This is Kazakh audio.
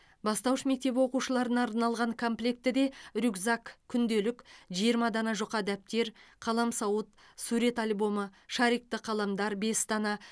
бастауыш мектеп оқушыларына арналған комплектіде рюкзак күнделік жиырма дана жұқа дәптер қаламсауыт сурет альбомы шарикті қаламдар бес дана